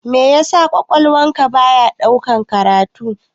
Meya sa ƙwaƙwalwan ka baya ɗaukan karatu?